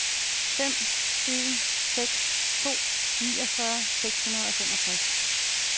fem en seks to niogfyrre seks hundrede og femogtres